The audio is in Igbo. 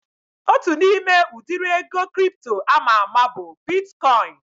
Otu n'ime udiri ego kripto ama ama bụ bitkọin